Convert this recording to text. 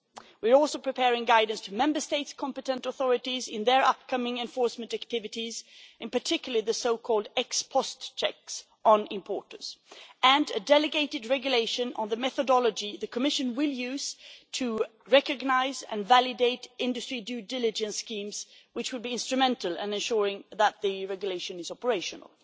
We are also preparing guidance for the Member States' competent authorities in their upcoming enforcement activities, in particular, the so called ex post checks on importers and a delegated regulation on the methodology that the Commission will use to recognise and validate industry due diligence schemes, which would be instrumental in ensuring that the regulation is operational.